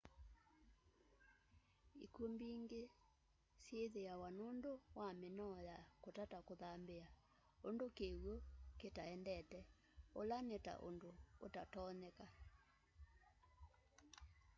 ikw'u mbingi syithiawa nundu wa minoo ya kutata kuthambia undu kiw'u kita endete ula nita undu utatonyeka